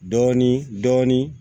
Dɔɔnin dɔɔnin